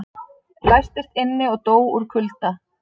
Læstist inni og dó úr kulda